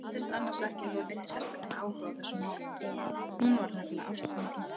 Hún virtist annars ekki hafa neinn sérstakan áhuga á þessum málum, hún var nefnilega ástfangin.